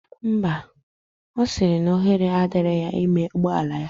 Ḿbà. osiri na ohere adiro na ime ụgbọla ya.